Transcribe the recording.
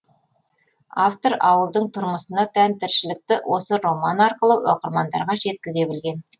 автор ауылдың тұрмысына тән тіршілікті осы роман арқылы оқырмандарға жеткізе білген